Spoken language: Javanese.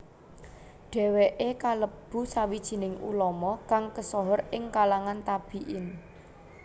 Dhèwèké kalebu sawijining ulama kang kesohor ing kalangan tabi in